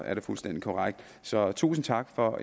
er det fuldstændig korrekt så tusind tak for